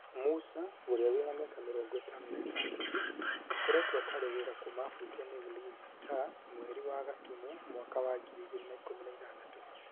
Musa, ũrĩa wĩna mĩaka mĩrongo ĩtano na ĩtandatũ, akoretwo atarĩ wĩra kuma abutwo nĩ Ulinzi Stars mweri wa Gatumu mwaka wa ngiri igĩrĩ na ikũmi na ithathatũ